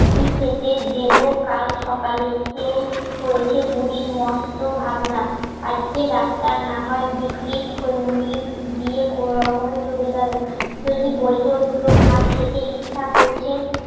কি থেকে দেবো কাল সকালে এসে হয়েছে বুড়ির মস্ত ভাবনা আজকে ডাক্তার না হয় বিক্রির খৈমুড়ি দিয়ে কোনোরকমে চলে গেলো যদি বলতো দুটো ভাত খেতে ইচ্ছা করছে